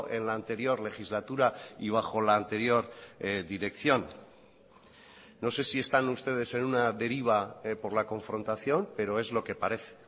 en la anterior legislatura y bajo la anterior dirección no sé si están ustedes en una deriva por la confrontación pero es lo que parece